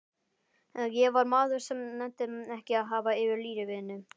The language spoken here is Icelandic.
Ég var maður sem nennti ekki að hafa fyrir lífinu.